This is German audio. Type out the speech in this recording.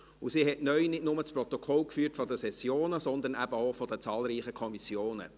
Neu hat sie nicht nur das Protokoll von Kommissionssitzungen geführt, sondern auch der zahlreichen Sessionen.